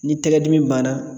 Ni tɛgɛ dimi banna.